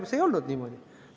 See ei olnud niimoodi.